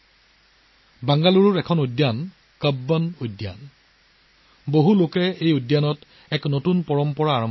Bengaluru Cubbon Park নামৰ এখন উদ্যান আছে ইয়াৰ মানুহে এই উদ্যানখনত নতুন পৰম্পৰা আৰম্ভ কৰিছে